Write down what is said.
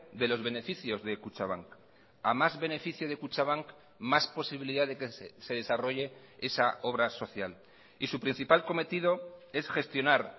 de los beneficios de kutxabank a más beneficio de kutxabank más posibilidad de que se desarrolle esa obra social y su principal cometido es gestionar